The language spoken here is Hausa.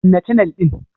Kunna canel din.